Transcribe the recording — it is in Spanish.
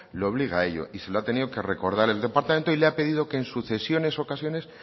le obliga a ello y se lo ha tenido que recordar el departamento y le ha pedido que